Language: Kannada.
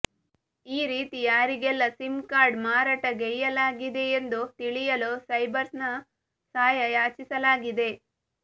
ಈರೀತಿ ಯಾರಿಗೆಲ್ಲ ಸಿಮ್ ಕಾರ್ಡ್ ಮಾರಾಟ ಗೈಯ್ಯಲಾಗಿದೆಯೆಂದು ತಿಳಿಯಲು ಸೈಬರ್ಸೆಲ್ನ ಸಹಾಯ ಯಾಚಿಸ ಲಾಗಿದೆ